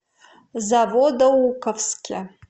заводоуковске